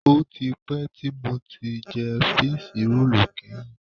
Ó ti pẹ́ tí mo ti jẹ fííṣí roòlù kẹ́yìn